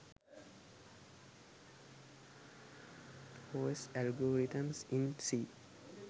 os algorithms in c